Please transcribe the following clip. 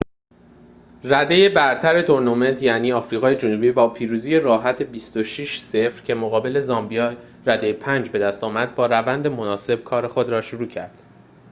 رده‌ی برتر تورنمنت یعنی آفریقای جنوبی با پیروزی راحت ۲۶ - ۰۰ که مقابل زامبیای رده ۵ بدست آورد با روند مناسب کار خود را شروع کرد